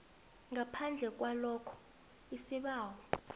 ngaphandle kwalokha isibawo